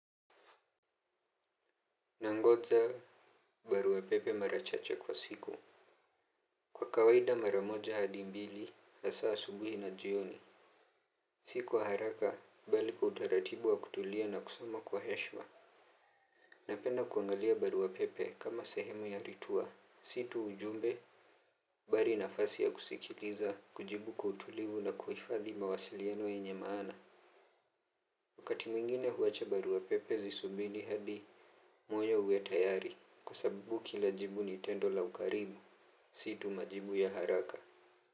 Nangoja barua pepe mara chache kwa siku kwa kawaida mara moja hadi mbili masaa ya asubuhi na jioni. Si kwa haraka bali kwa utaratibu wa kutulia na kusoma kwa heshima. Napenda kuangalia barua pepe kama sehemu ya ritua si tu ujumbe bali nafasi ya kusikiliza kujibu kwa utulivu na kuhifadhi mawasiliano yenye maana. Wakati mwingine huacha barua pepe zisubiri hadi moyo uwe tayari kwa sababu kila jibu ni tendo la ukaribu. Si tu majibu ya haraka.